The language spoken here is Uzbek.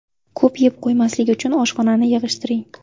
Ko‘p yeb qo‘ymaslik uchun oshxonani yig‘ishtiring.